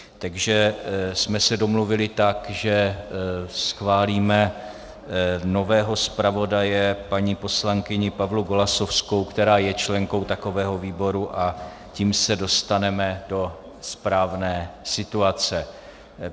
Takže jsme se domluvili tak, že schválíme nového zpravodaje, paní poslankyni Pavlu Golasowskou, která je členkou takového výboru, a tím se dostaneme do správné situace.